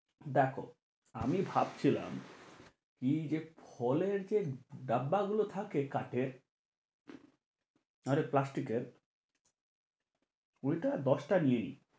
দেখো আমি ভাবছিলাম কি যে ফলের যে ডাব্বা গুলো থাকে কাঠের আরে প্লাস্টিকের ওইটা দশটা নিয়ে নিই,